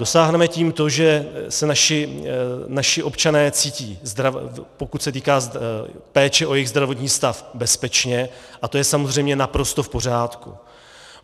Dosáhneme tím to, že se naši občané cítí, pokud se týká péče o jejich zdravotní stav, bezpečně, a to je samozřejmě naprosto v pořádku.